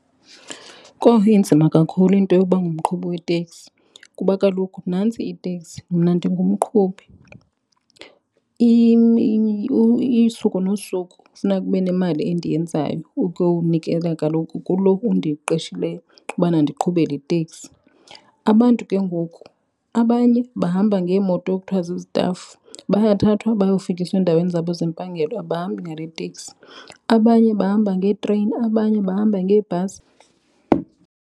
Kowu, inzima kakhulu into yokuba ngumqhubi weteksi kuba kaloku nantsi iteksi mna ndingumqhubi. Usuku nosuku funeka kube nemali endiyenzayo ukunikela kaloku kuloo undiqeshileyo ubana ndiqhube le teksi. Abantu ke ngoku abanye bahamba ngeemoto ekuthiwa ziztafu. Bayathathwa bayofikiswa endaweni zabo zempangelo abahambi ngaleteksi. Abanye bahamba ngeetreyini abanye bahamba ngeebhasi.